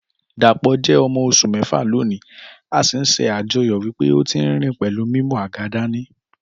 Dàpọ̀ jẹ ọmọ oṣù méfà lónì, a sì n ṣe àjoyọ̀ wípé ọ tí nrín pẹlú mímú àga dání